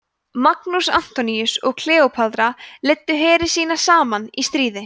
markús antoníus og kleópatra leiddu heri sína saman í stríðið